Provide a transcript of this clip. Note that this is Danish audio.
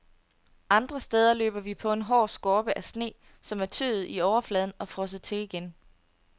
Andre steder løber vi på en hård skorpe af sne, som er tøet i overfladen og frosset til igen.